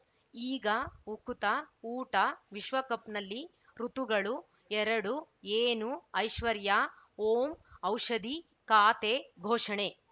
ಈಗ ಉಕುತ ಊಟ ವಿಶ್ವಕಪ್‌ನಲ್ಲಿ ಋತುಗಳು ಎರಡು ಏನು ಐಶ್ವರ್ಯಾ ಓಂ ಔಷಧಿ ಖಾತೆ ಘೋಷಣೆ